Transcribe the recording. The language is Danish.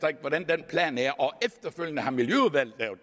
det er og efterfølgende har miljøudvalget lavet